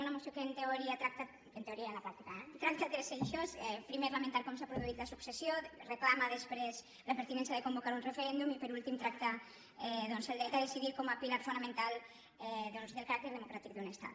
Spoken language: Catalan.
una moció que en teoria tracta en teoria i a la pràctica eh tres eixos primer lamenta com s’ha produït la successió reclama després la pertinència de convocar un referèndum i per últim tracta doncs el dret a decidir com a pilar fonamental del caràcter democràtic d’un estat